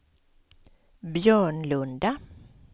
Björnlunda